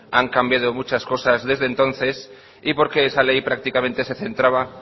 han cambiado muchas cosas desde entonces y porque esa ley prácticamente se centraba